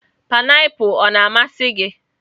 painiapulu ọ na-amasị gị?